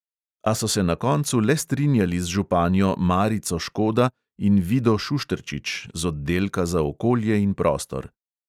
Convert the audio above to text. A so se na koncu le strinjali z županjo marico škoda in vido šušterčič z oddelka za okolje in prostor.